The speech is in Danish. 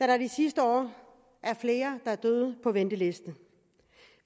der det sidste år er flere der er døde på venteliste